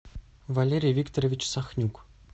валерий викторович сахнюк